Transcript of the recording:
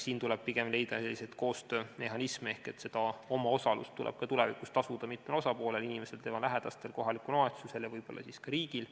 Siin tuleb pigem leida selliseid koostöömehhanisme, et omaosalust tuleb ka tulevikus tasuda mitmel osapoolel – inimesel, tema lähedastel, kohalikul omavalitsusel ja võib-olla siis ka riigil.